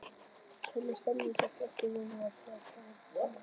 Hvernig er stemningin hjá Þrótti Vogum fyrir komandi tímabil?